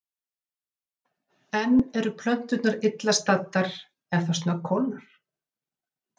En eru plönturnar illa staddar ef það snöggkólnar?